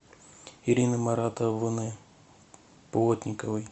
ирины маратовны плотниковой